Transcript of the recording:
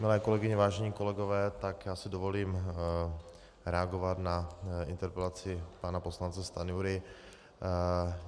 Milé kolegyně, vážení kolegové, tak já si dovolím reagovat na interpelaci pana poslance Stanjury.